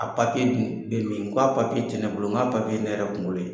A dun? Bɛ min ? n ko a ti ne bolo, n ko ye ne yɛrɛ kunkolo ye .